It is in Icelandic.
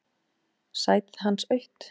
Sætið hans autt.